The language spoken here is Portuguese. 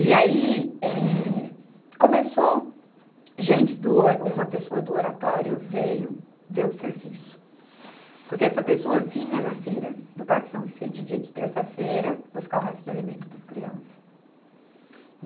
E aí, eh, começou, gente do O, uma pessoa do Oratório veio ver o serviço, porque essa pessoa vinha na feira do Parque São Vicente dia de terça-feira buscar o resto de alimento para as crianças.